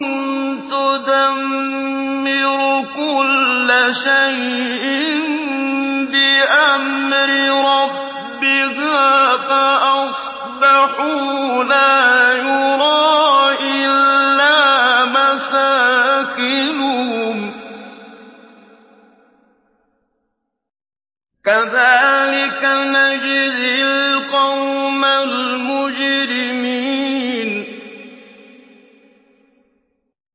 تُدَمِّرُ كُلَّ شَيْءٍ بِأَمْرِ رَبِّهَا فَأَصْبَحُوا لَا يُرَىٰ إِلَّا مَسَاكِنُهُمْ ۚ كَذَٰلِكَ نَجْزِي الْقَوْمَ الْمُجْرِمِينَ